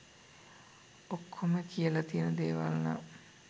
ඔක්කොම කියලා තියන දේවල් නම්